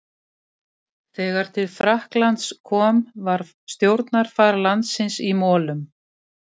Þegar til Frakklands kom var stjórnarfar landsins í molum.